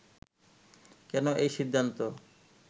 কেন এই সিদ্ধান্ত